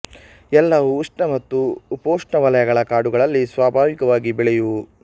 ಎಲ್ಲವೂ ಉಷ್ಣ ಮತ್ತು ಉಪೋಷ್ಣ ವಲಯಗಳ ಕಾಡುಗಳಲ್ಲಿ ಸ್ವಾಭಾವಿಕವಾಗಿ ಬೆಳೆಯುವುವು